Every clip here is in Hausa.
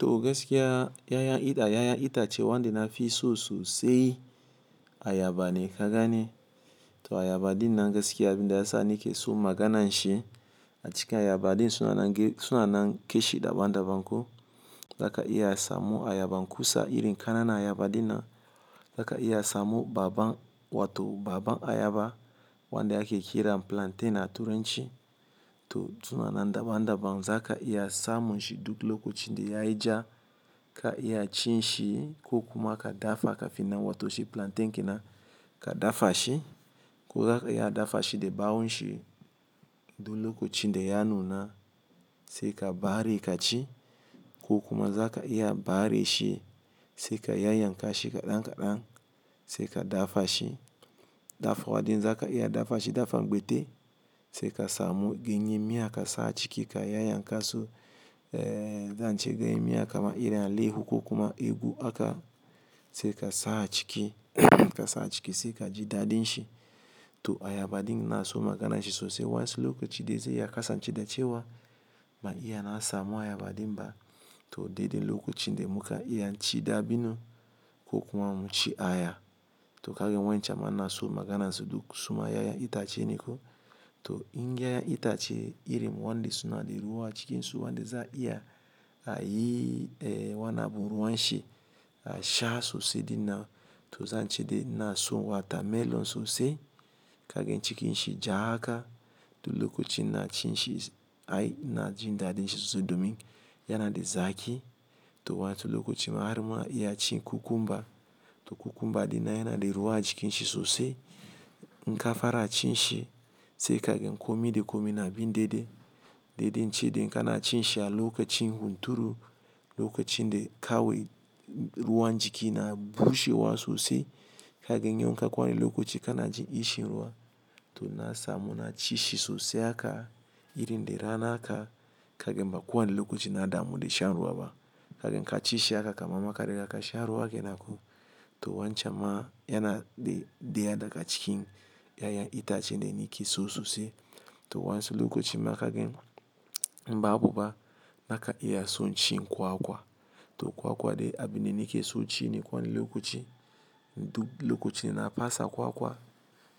To gaskiya yayan ita, yayan itace wanda nafi so sosai ayaba ne kaganai. To ayaba din nan gaskiya abin da ya sa ni ke so magana shi, a cikin ayaba din suna na ge-- suna na keshi daban-daban ko. Zaka iya samu ayaban kusa, irin ƙananan ayaba din nan. Zaka iya samu babban, wato baban ayaba wanda yake kira plantain a turen shi. To suna nan daban-daban. Zaka iya samun shi duk lokacin da yayi ja, ka iya cin shi ko kuma ka dafa kafin nan, wato shi plantain kenan ka dafa shi. Ko zaka iya dafa shi da bawun shi, duk lokacin da ya nuna sai ka bare ka ci, ko kuma zaka iya bare shi sai ka yayan ka shi kaɗan kaɗan sai ka dafa shi. Dafuwa ɗin zaka iya dafa shi dafa gbaite, sai ka samu ganye miya ka sa a ciki ka yayan ka su, eh, zan ce ganye miya kamar irin alehu ko kuma ugu aka, sai ka sa a ciki ka sa a ciki sai ka ji daɗin shi. To ayaba din ina na so magana shi sosai. Wayansu lokaci dai zai iya kasance dacewa, ban iya na samu ayaba ɗin ba. To dai dai lokacin ne muka iya cin dabino ko kuma mun ci aya. To kagan wayancan ma ina so maganan su duk suma yayan itace ne ko. To in yayan itace iri wanda suna da ruwa a cikinsu, wanda za a iya a yi, eh, wani abu ruwan shi, a sha sosai ɗina. To zan ce dai na so wata melon sosai. Kagan cikin shi ja haka, duk lokacin na ci shi ai ina jin daɗin shi sosai domin yana da zaki. To wayansu lokacin ma har ma iya cin cucumber. To cucumber ɗin yana da ruwa a cikin shi sosai. In ka fara cin shi sai kagan komi da komi na bi daidai. Daidai in ce dai in kana cin shi a lokacin hunturu, lokacin da kawai ruwan jiki na bushewa sosai. Kagan yau inka kware lokaci kana jin kishin ruwa. To na samu na ci shi sosai haka irin da rana aka kagan ba kowane lokacin na damu da shan ruwa ba. Kagan ka ci shi haka kamar ma ka riga ka sha ruwa kenan ko. To wancan ma yana da, daya daga ka cikin yayan itace dai ni ke so sosai. To wansu lokacin ma kagan, in ba buba, baka iya son cin kwakwa. To kwakwa dai abin da ni ke son ci ne kowane lokoci. Duk lokacin da na fasa kwakwa,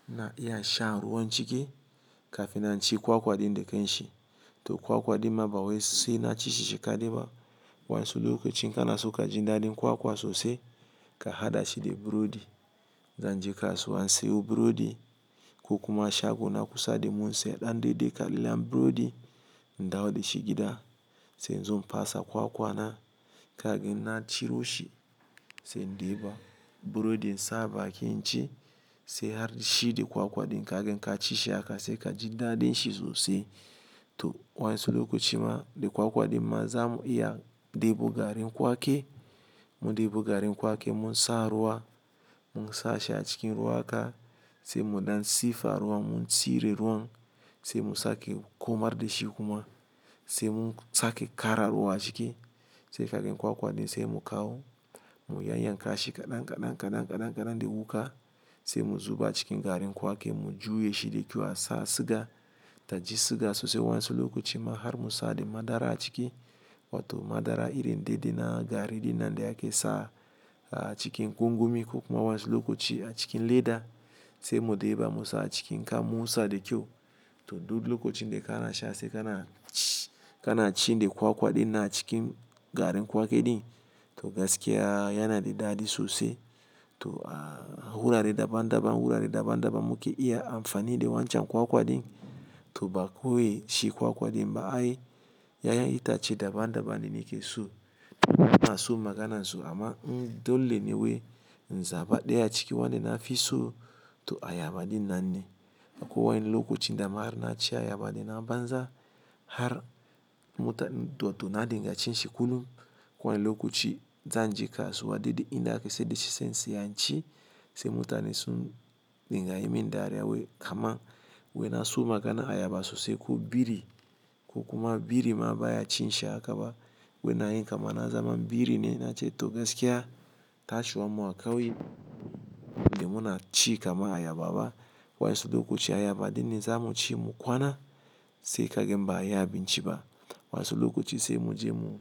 ina iya shan ruwan ciki, kafin na in ci kwakwa ɗin da ƙan shi. To kwakwa ɗin ma bawai sai na ci shi shi ƙa dai ma. Wayansu lokacin in kana so ka ji daɗin kwakwa sosai, ka haɗa shi da burodi. Zan je kasuwa in siyo burodi, ko kuma shago na kusa sai in bi daidai kamin layin burodi in dawo da shi gida, sai in zo in pasa kwakwa na, kagan na ciro shi sai in ɗeba burodi in sa baƙin in ci, sai har shi da kwakwa din kagan in ka ci shi haka sai ka ji daɗin shi sosai. To wayansu lokacin ma da kwakwa ɗin ma za mu iya debu garin kwaki. Mu debu garin kwaki mu sa ruwa, mu sa shi a cikin ruwa haka, sai mu ɗan siffa ruwa, mu cire ruwan, sai mu sake komar da shi kuma, sai mun sake ƙara ruwa a ciki. Sai kagan kwakwa din sai mu kawo mu yayan ka shi kaɗan kaɗan kaɗan kaɗan kaɗan da wuka sai mu zuba cikin garin kwaki mu juye shi da kyau, a sa siga. Ta ji suga sosai, wayansu lokaci ma har mu sa da madara a cike, wato madara irin daidai na gari ɗinan da aka sa a cikin gongoni ko wani lokaci a cikin leda sai mu ɗeba mu sa a cikin, ka mu sa da kyau. Toh duk lokacin da kana sha sai kana cin dai kwakwa ɗinan a cikin garin kwaki ɗin to gaskiya yana da daɗi sosai. To, ah, wurare daban-daban, wurare daban-daban muke iya amfani da wancan kwakwa din. Toh ba kawai shi kwakwa ɗin ba ai, yayan itace daban daban ne nike so ina so magana su amma in dole ne wai in zaba ɗaya ciki wanda nafi so to ayaba din nan ne. Akwai wani lokacin da ma har na ci ayaba ɗin na banza har muta-- to, to na dinga cin shi kullum. Kowane lokaci zan je kasuwa dai dai in da ake saida shi sai in saya in ci, sai mutane sun dinga yi min dariya wai, "harma wai na so magana ayaba sosai ko biri ko kuma biri ma ba ya cin shi haka ba. Wai ina yi kama na zama biri ne na ce to gaskiya tashiwan mu a kauye, dai mu na ci kama ayaba ba. Wayansu lokaci ayaba ɗin ne za mu ci mu kwana, sai kagan ba abinci ba. Wani lokaci sai mu je mu.